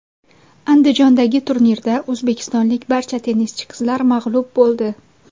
Andijondagi turnirda o‘zbekistonlik barcha tennischi qizlar mag‘lub bo‘ldi.